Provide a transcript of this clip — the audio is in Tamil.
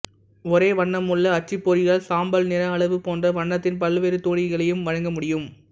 ஒரேவண்ணமுள்ள அச்சுப்பொறியால் சாம்பல்நிறஅளவு போன்ற வண்ணத்தின் பல்வேறு தொனிகளையும் வழங்க முடியும்